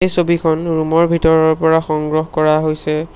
ছবিখন ৰুম ৰ ভিতৰৰ পৰা সংগ্ৰহ কৰা হৈছে।